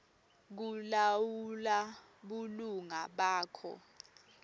kulawula bulunga bakho